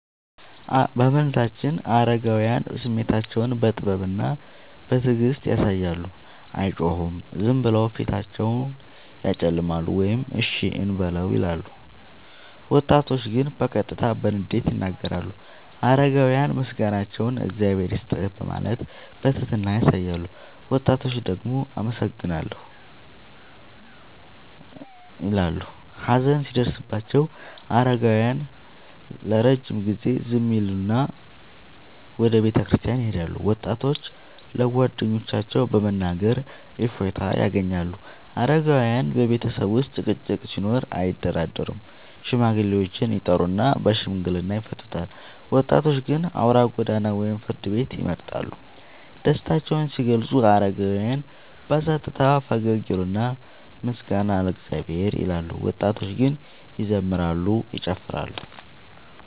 በመንዛችን አረጋውያን ስሜታቸውን በጥበብና በትዕግስት ያሳያሉ፤ አይጮሁም፤ ዝም ብለው ፊታቸውን ያጨለማሉ ወይም “እሺ እንበለው” ይላሉ። ወጣቶች ግን በቀጥታ በንዴት ይናገራሉ። አረጋውያን ምስጋናቸውን “እግዚአብሔር ይስጥህ” በማለት በትህትና ያሳያሉ፤ ወጣቶች ደግሞ “አመሰግናለሁ” እንዳል ይበሉ። ሀዘን ሲደርስባቸው አረጋውያን ለረጅም ጊዜ ዝም ይላሉና ወደ ቤተክርስቲያን ይሄዳሉ፤ ወጣቶች ለጓደኞቻቸው በመናገር እፎይታ ያገኛሉ። አረጋውያን በቤተሰብ ውስጥ ጭቅጭቅ ሲኖር አያደራደሩም፤ ሽማግሌዎችን ይጠሩና በሽምግልና ይፈቱታል። ወጣቶች ግን አውራ ጎዳና ወይም ፍርድ ቤት ይመርጣሉ። ደስታቸውን ሲገልጹ አረጋውያን በጸጥታ ፈገግ ይላሉና “ምስጋና ለእግዚአብሔር” ይላሉ፤ ወጣቶች ግን ይዘምራሉ፤ ይጨፍራሉ።